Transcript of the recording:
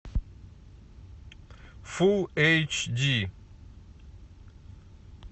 фулл эйч ди